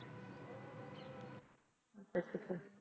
ਅੱਛਾ ਅੱਛਾ